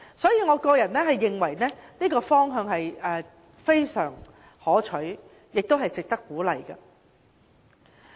因此，我認為這個方向非常可取，亦值得鼓勵。